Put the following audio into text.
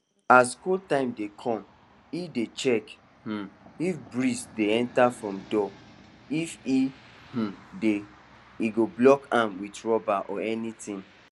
as cold time dey come he dey check um if breeze dey enter from door if e um dey he go block am with rubber or anything